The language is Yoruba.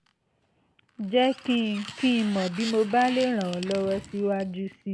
jẹ́ kí n kí n mọ̀ bí mo bá lè ràn ọ́ lọ́wọ́ síwájú sí i